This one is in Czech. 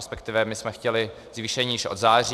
Respektive my jsme chtěli zvýšení již od září.